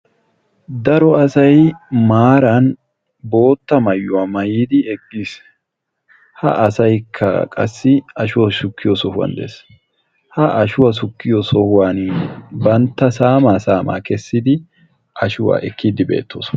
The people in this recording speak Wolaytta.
Daro asay maaran bootta maayuwaa maayyidi eqqiis. ha asaykka qassi ashuwaa shuukkiyo sohuwan de'ees, bantta saama saama keessidi ashuwaa ekkidi beettoosona.